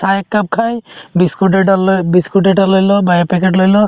চাহ একাপ খাই biscuit এটা লৈ biscuit এটা লৈ ল বা এ packet লৈ ল